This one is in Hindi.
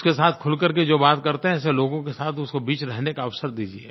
उसके साथ खुल कर के जो बात करते हैं ऐसे लोगों के साथ उसको बीच में रहने का अवसर दीजिए